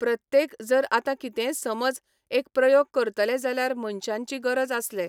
प्रत्येक जर आतां कितेंय समज एक प्रयोग करतले जाल्यार मनशांची गरज आसले.